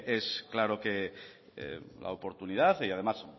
es claro que la oportunidad y además